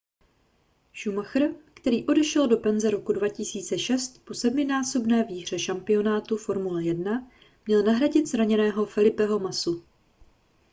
schumacher který odešel do penze roku 2006 po sedminásobné výhře šampionátu formule 1 měl nahradit zraněného felipeho massu